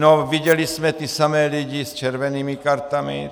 No viděli jsme ty samé lidi s červenými kartami.